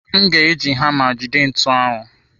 M ga-eji hama jide ntu ahụ.